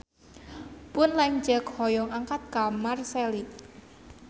Pun lanceuk hoyong angkat ka Marseille